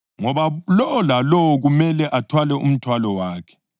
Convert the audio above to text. ngoba lowo lalowo kumele athwale umthwalo wakhe.